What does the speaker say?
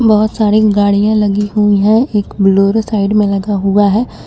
बहोत सारी गाड़ियां लगी हुई है एक बोलेरो साइड में लगा हुआ है।